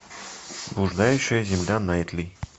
блуждающая земля найтли